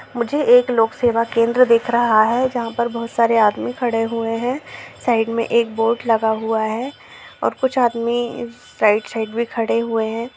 मुझे एक लोक सेवा केंद्र दिख रहा हैं जहाँ पे बहुत सारे आदमी खड़े हुए हैं साइड मे एक बोर्ड लगा हुआ हैं कुछ आदमी साइड साइड मे खड़े हुए हैं।